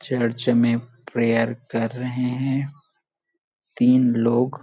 church में prayer कर रहे है तीन लोग--